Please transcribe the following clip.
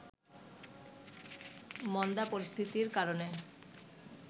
মন্দা পরিস্থিতির কারণে